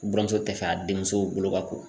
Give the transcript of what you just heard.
Buramuso tɛ fɛ a denmuso bolo ka ko.